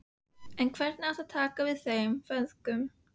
En hver á að taka við þeim feðgum?